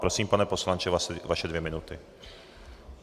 Prosím, pane poslanče, vaše dvě minuty.